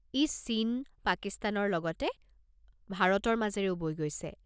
ই চীন, পাকিস্তানৰ লগতে ভাৰতৰ মাজেৰেও বৈ গৈছে।